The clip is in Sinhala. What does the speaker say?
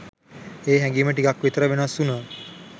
ඒ හැගීම ටිකක් විතර වෙනස් උණා..